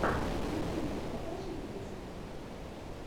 в ютьюбе покажи песни